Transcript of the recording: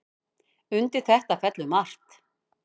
Undir þetta fellur margt.